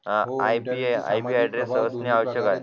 IBA address search ने आवश्यक आहे